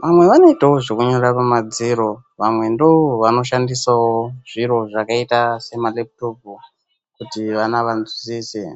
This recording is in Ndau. vamweni ndivo vanonyorawo pamadziro vamweni ndo vanoshandisawo zviro zvakaita sema maleputopu kuti vana vanzwisise.